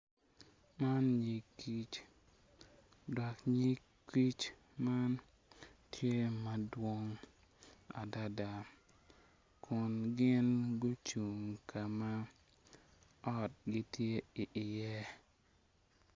Man nyig kic dok nyig kic man tye madwong adada kun gin gucung kama ot gi tye i iye.